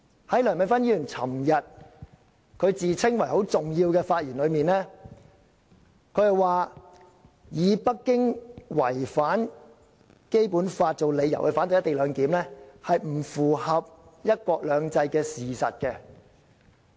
在梁美芬議員昨天自稱為很重要的發言中，她說以北京違反《基本法》作為反對"一地兩檢"的理由，並不符合"一國兩制"的事實。